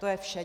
To je vše.